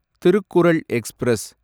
Thirukkural express